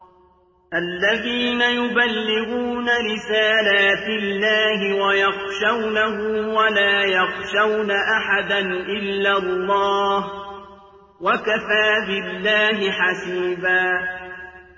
الَّذِينَ يُبَلِّغُونَ رِسَالَاتِ اللَّهِ وَيَخْشَوْنَهُ وَلَا يَخْشَوْنَ أَحَدًا إِلَّا اللَّهَ ۗ وَكَفَىٰ بِاللَّهِ حَسِيبًا